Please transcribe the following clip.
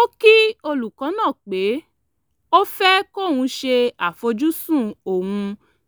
ó kí olùkọ́ náà pé ó fẹ́ kóun ṣe àfojúsùn òun